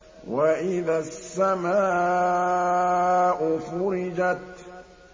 وَإِذَا السَّمَاءُ فُرِجَتْ